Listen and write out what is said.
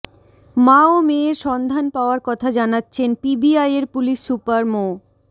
মা ও মেয়ের সন্ধান পাওয়ার কথা জানাচ্ছেন পিবিআইয়ের পুলিশ সুপার মো